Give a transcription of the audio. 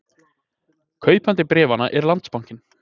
Kaupandi bréfanna er Landsbankinn